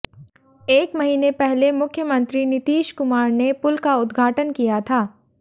एक महीने पहले मुख्यमंत्री नीतीश कुमार ने पुल का उद्घाटन किया था